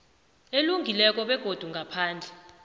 elungileko begodu ngaphandle